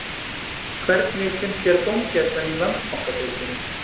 Hvernig finnst þér dómgæslan í Landsbankadeildinni?